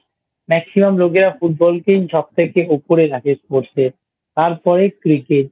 Maximum লোকেরা Football কেই সবথেকে উপরে রাখে Sports এ তারপরে Cricket